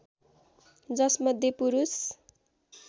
जसमध्ये पुरूष